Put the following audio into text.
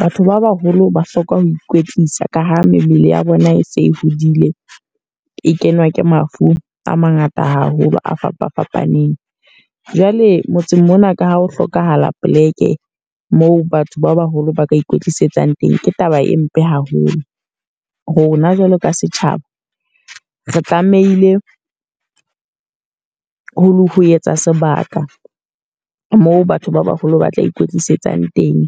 Batho ba baholo ba hloka ho ikwetlisa ka ha mmele ya bona e se e hodile. E kenwa ke mafu a mangata haholo, a fapa fapaneng. Jwale motseng mona ka ha ho hlokahala poleke, moo batho ba baholo ba ka ikwetlisetsang teng. Ke taba e mpe haholo. Rona jwalo ka setjhaba, re tlamehile ho etsa sebaka moo batho ba baholo ba tla ikwetlisetsang teng.